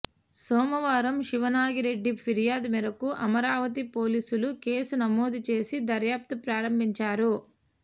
సోమవారం శివనాగిరెడ్డి ఫిర్యాదు మేరకు అమరావతి పోలీసులు కేసు నమోదు చేసి దర్యాప్తు ప్రారంభించారు